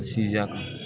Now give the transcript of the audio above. Sinzan ka